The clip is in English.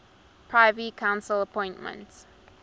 privy council appoint